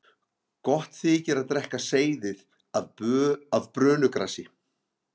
gott þykir að drekka seyðið af brönugrasi